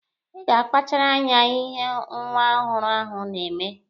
Ị ga-akpachara anya ihe nwa ọhụrụ ahụ na-eme.